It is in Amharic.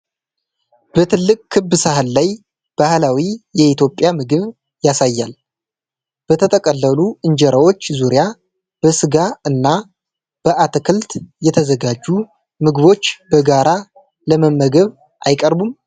በትልቅ ክብ ሳህን ላይ ባህላዊ የኢትዮጵያ ምግብ ያሳያል፤ በተጠቀለሉ እንጀራዎች ዙሪያ በስጋ እና በአትክልት የተዘጋጁ ምግቦች በጋራ ለመመገብ አይቀርቡም ?